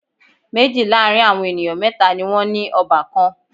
Méjì láàrin àwọn ènìyàn mẹ́tà ni wọ́n ní ọbàkan.